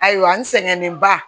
Ayiwa n sɛgɛnnen ba